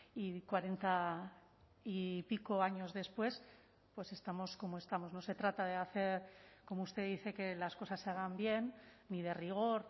y cuarenta y pico años después pues estamos como estamos no se trata de hacer como usted dice que las cosas se hagan bien ni de rigor